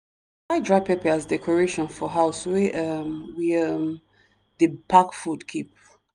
dry pepper as decoration for house wey um we um dey pack food keep.